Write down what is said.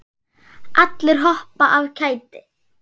Allir hoppa af kæti.